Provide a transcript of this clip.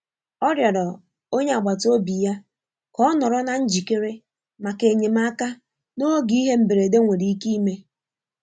Ọ rịọrọ onye agbata obi ya ka ọ nọrọ na njikere maka enyemaka n'oge ihe mberede nwere ike ime.